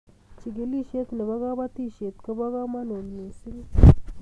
chikilishiet nebo kabatishiet kobo kamagut mising